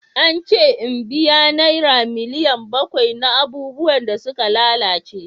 An ce in biya naira miliyan bakwai na abubuwan da suka lalace.